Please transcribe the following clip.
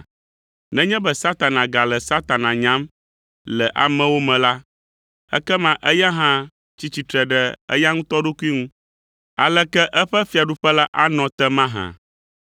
Nenye be Satana gale Satana nyam le amewo me la, ekema eya hã tsi tsitre ɖe eya ŋutɔ ɖokui ŋu. Aleke eƒe fiaɖuƒe la anɔ te mahã?